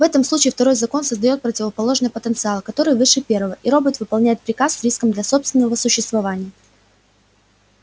в этом случае второй закон создаёт противоположный потенциал который выше первого и робот выполняет приказ с риском для собственного существования